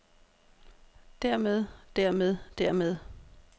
dermed dermed dermed